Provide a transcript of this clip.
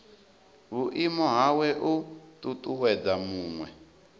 vhuimo hawe u ṱuṱuwedza muṅwe